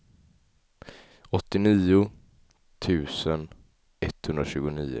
åttionio tusen etthundratjugonio